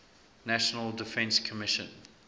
national defense commission